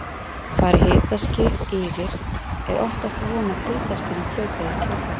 Fari hitaskil yfir er oftast von á kuldaskilum fljótlega í kjölfarið.